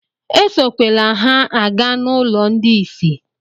Esokwele ha aga n'ụlọ ndị isi!